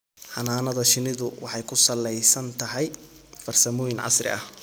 Xannaanada shinnidu waxay ku salaysan tahay farsamooyin casri ah.